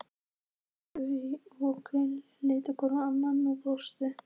Laugi og Krilli litu hvor á annan og brostu.